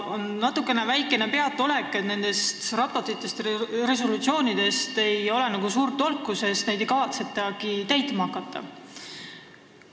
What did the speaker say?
Valitseb aga väikene peataolek, sest nendest raportitest ega resolutsioonidest ei ole suurt tolku, midagi ei kavatsetagi ette võtta.